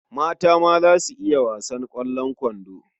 Mata ma za su iya wasan ƙwallon kwando.